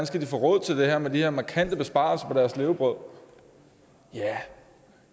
skal få råd til det her med de her markante besparelser på deres levebrød ja